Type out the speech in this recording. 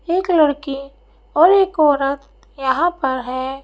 एक लड़की और एक औरत यहाँ पर है।